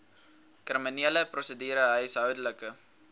kriminele prosedure huishoudelike